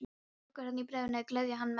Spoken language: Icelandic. Lokaorðin í bréfinu gleðja hann mest.